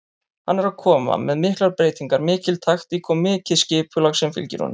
Hann er að koma með miklar breytingar, mikil taktík og mikið skipulag sem fylgir honum.